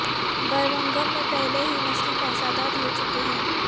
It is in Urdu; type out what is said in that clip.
برمنگھم میں پہلے بھی نسلی فسادات ہو چکے ہیں